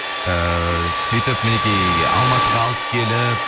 ыыы сөйтіп мінекей алматыға алып келіп